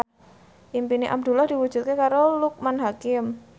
impine Abdullah diwujudke karo Loekman Hakim